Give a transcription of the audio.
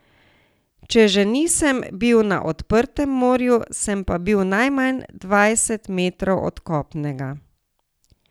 Če že nisem bil na odprtem morju, sem pa bil najmanj dvajset metrov od kopnega.